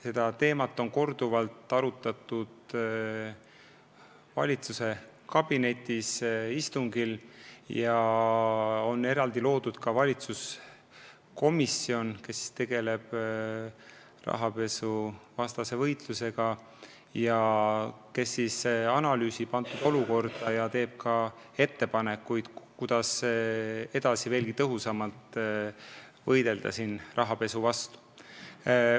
Seda teemat on korduvalt arutatud valitsuskabineti istungil ja on eraldi loodud valitsuskomisjon, kes tegeleb rahapesuvastase võitlusega, analüüsib kujunenud olukorda ja teeb ka ettepanekuid, kuidas edaspidi tõhusamalt võidelda rahapesu vastu.